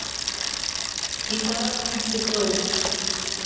Í dag kynnti próf